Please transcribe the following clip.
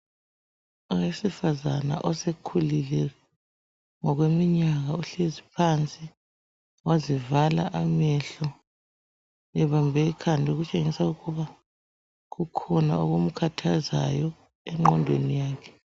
Owesifazana osekhulile ngokweminyaka uhlezi phansi wazivala amehlo ebambe ikhanda ukutshengisa ukuba kukhona okumkhathazayo engqodweni yakhe.